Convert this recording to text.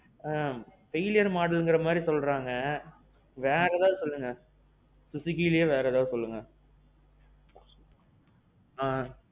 ஆ. failure modelங்குற மாதிரி சொல்றாங்க. வேற ஏதாவது சொல்லுங்க. suzukiலேயே வேற ஏதாவது சொல்லுங்க. ஆ.